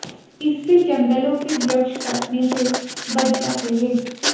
इससे जंगलों के वृक्ष कटने से बच जाते हैं